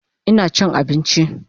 Ina chin abinchi